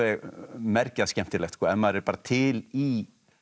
mergjað skemmtilegt ef maður er bara til í